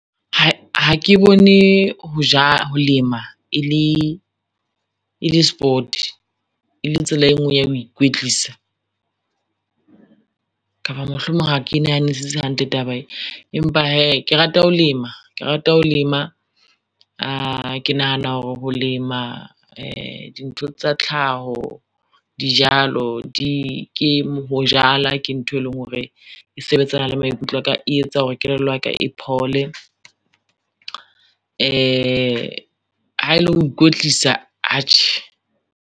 Hai ha ke bone ho lema e le sport, e le tsela e ngwe ya ho ikwetlisa, kapa mohlomong ha ke nahanesise hantle taba e. Empa hee ke rata ho lema, ke rata ho lema, ke nahana hore ho lema di ntho tsa tlhaho, dijalo, ho jala ke ntho e leng hore e sebetsana le maikutlo a ka e etsa hore kelello ya ka e phole, ha ele ho ikwetlisa atjhe.